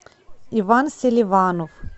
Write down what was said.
иван селиванов